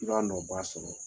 I b'a nɔ ba sɔrɔ